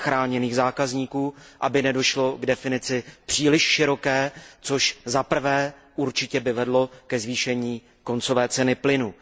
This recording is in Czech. chráněných zákazníků, aby nedošlo k definici příliš široké, což by určitě vedlo ke zvýšení koncové ceny plynu.